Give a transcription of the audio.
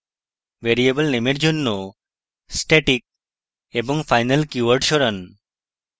variable name এর জন্য static এবং final keywords সরান